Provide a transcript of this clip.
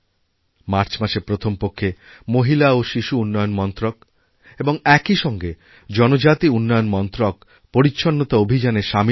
মার্চমাসের প্রথম পক্ষে মহিলা ও শিশু উন্নয়ন মন্ত্রক এবং একই সঙ্গে জনজাতি উন্নয়নমন্ত্রক পরিচ্ছন্নতা অভিযানে সামিল হবে